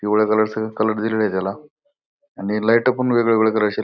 पिवळ्या कलर चं कलर दिलेलं आहे त्याला. आणि लाईटं पण वेगवेगळ्या कलरचे --